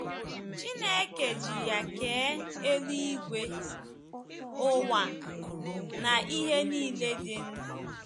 Chineke ji ya kee eluigwe, ụwa, na ihe nile dị ndụ.